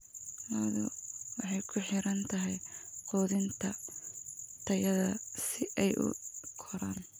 Lo'du waxay ku xiran tahay quudinta tayada si ay u koraan.